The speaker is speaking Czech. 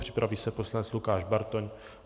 Připraví se poslanec Lukáš Bartoň.